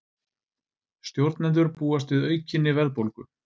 Stjórnendur búast við aukinni verðbólgu